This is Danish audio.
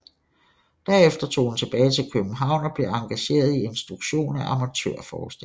Derefter tog hun tilbage til København og blev engageret i instruktion af amatørforestillinger